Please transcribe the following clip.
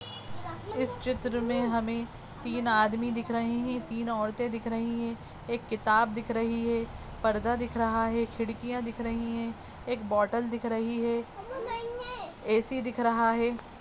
इस चित्र में हमें तीन आदमी दिख रहे हैं तीन औरतें दिख रही हैं एक किताब दिख रही है पर्दा दिख रहा है खिड़कियां दिख रही हैं एक बोटल दिख रही है ए.सी. दिख रहा है।